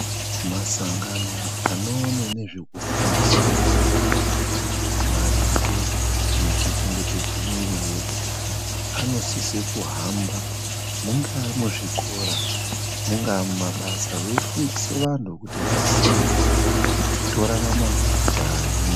Masangano anoone nezvekufundisa vantu maringo nekuchengetedze mwiri yedu anosise kuhamba mungaa muzvikora mungaa mumabasa veifundise vanhu kuti vaziye kuti torarama njani.